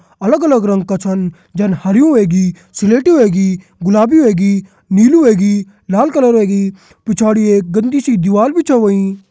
अलग अलग रंग का छन जन हरयूं वेगी स्लेटी वेगी गुलाबी वेगी नीलू वेगी लाल कलर वेगी पिछाड़ी एक गन्दी सी दीवाल भी छ होईं।